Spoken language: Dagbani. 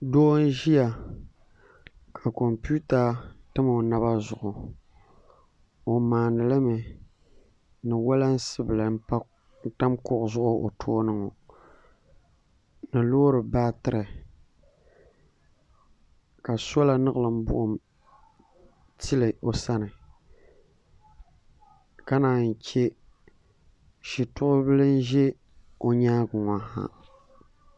doo n ʒiya ka kompiuta tam o naba zuɣu o maandi limi ni wolansi bili n tam kuɣu zuɣu o tooni ŋɔ ni loori baatiri ka soola niɣilim buɣum tili o sani ka naan yi chɛ shito bili n ʒɛ o nyaangi ŋɔ ha